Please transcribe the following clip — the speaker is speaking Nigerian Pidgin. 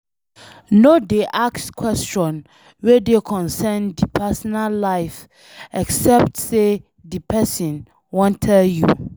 No dey ask question wey concern di personal life except sey di person wan tell you